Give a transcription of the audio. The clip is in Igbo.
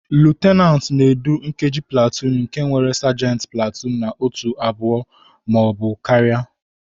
Lutenantị na-edu nkeji platuun nke nwere sajenti platuun na otù abụọ ma ọ bụ karịa.